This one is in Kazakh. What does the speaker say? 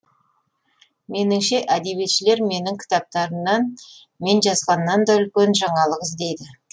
меніңше әдебиетшілер менің кітаптарымнан мен жазғаннан да үлкен жаңалық іздейді